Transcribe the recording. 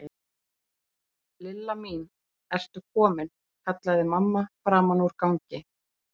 Lilla mín, ertu komin? kallaði mamma framan úr gangi.